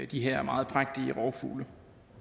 de her meget prægtige rovfugle